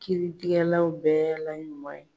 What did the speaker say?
Kiiritigɛlaw bɛɛ la ɲuman ye.